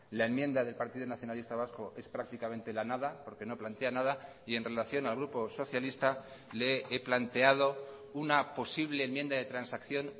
la enmienda del partido nacionalista vasco es prácticamente la nada porque no plantea nada y en relación al grupo socialista le he planteado una posible enmienda de transacción